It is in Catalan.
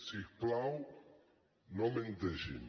si us plau no menteixin